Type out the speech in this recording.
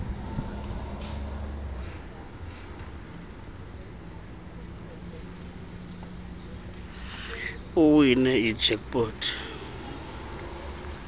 uwine ijack pot